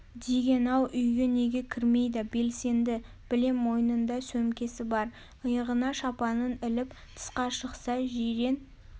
деген ау үйге неге кірмейді белсенді білем мойнында сөмкесі бар иығына шапанын іліп тысқа шықса жирен